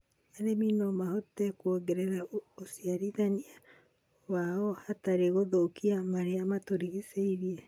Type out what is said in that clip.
arĩmi no mahote kuongerera ũciarithania wao hatarĩ gũthũkia marĩa matũrigicĩirie.